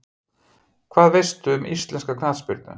Hvað veistu um íslenska knattspyrnu?